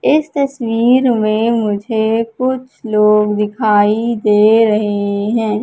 इस तस्वीर में मुझे कुछ लोग दिखाई दे रहे हैं।